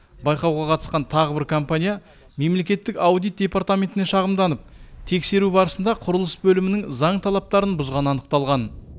байқауға қатысқан тағы бір компания мемлекеттік аудит департаментіне шағымданып тексеру барысында құрылыс бөлімінің заң талаптарын бұзғаны анықталған